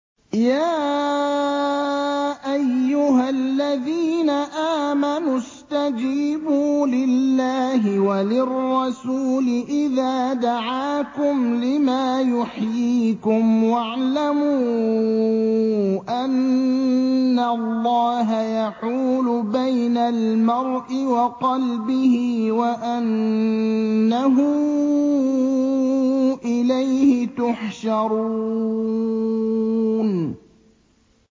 يَا أَيُّهَا الَّذِينَ آمَنُوا اسْتَجِيبُوا لِلَّهِ وَلِلرَّسُولِ إِذَا دَعَاكُمْ لِمَا يُحْيِيكُمْ ۖ وَاعْلَمُوا أَنَّ اللَّهَ يَحُولُ بَيْنَ الْمَرْءِ وَقَلْبِهِ وَأَنَّهُ إِلَيْهِ تُحْشَرُونَ